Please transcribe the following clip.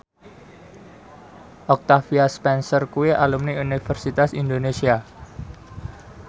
Octavia Spencer kuwi alumni Universitas Indonesia